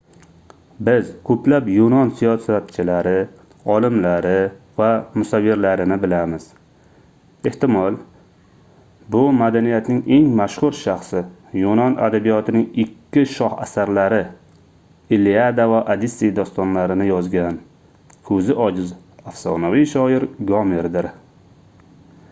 biz koʻplab yunon siyosatchilari olimlari va musavvirlarini bilamiz ehtimol bu madaniyatning eng mashhur shaxsi yunon adabiyotining ikki shoh asarlari iliada va odissey dostonlarini yozgan koʻzi ojiz afsonaviy shoir gomerdir